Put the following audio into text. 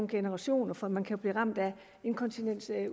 generationer for man kan blive ramt af inkontinens